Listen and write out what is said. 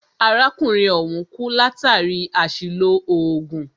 Arákùnrin ọ̀hùn kú látàri àṣìlò oògùn.